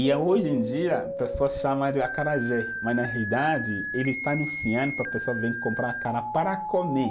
E eh, hoje em dia, a pessoa chama de acarajé, mas na realidade, ele está anunciando para a pessoa vir comprar acará para comer.